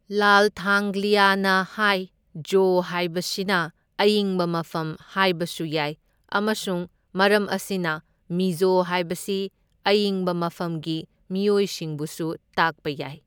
ꯂꯥꯜꯊꯥꯡꯒ꯭ꯂꯤꯌꯥꯅ ꯍꯥꯏ ꯖꯣ ꯍꯥꯏꯕꯁꯤꯅ ꯑꯏꯪꯕ ꯃꯐꯝ ꯍꯥꯏꯕꯁꯨ ꯌꯥꯏ ꯑꯃꯁꯨꯡ ꯃꯔꯝ ꯑꯁꯤꯅ ꯃꯤꯖꯣ ꯍꯥꯏꯕꯁꯤ ꯑꯏꯪꯕ ꯃꯐꯝꯒꯤ ꯃꯤꯑꯣꯏꯁꯤꯡꯕꯨꯁꯨ ꯇꯥꯛꯄ ꯌꯥꯏ꯫